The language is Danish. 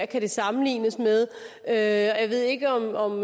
kan sammenlignes med og jeg ved ikke om